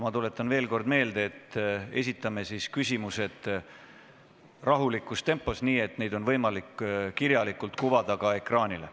Ma tuletan veel kord meelde, et esitame küsimused rahulikus tempos, nii et neid oleks võimalik kuvada ka ekraanile.